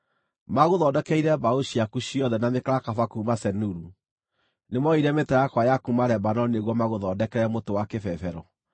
Maagũthondekeire mbaũ ciaku ciothe na mĩkarakaba kuuma Seniru; nĩmooire mĩtarakwa ya kuuma Lebanoni nĩguo magũthondekere mũtĩ wa kĩbebero.